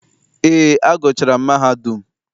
Eé, agụchaara m mahadum.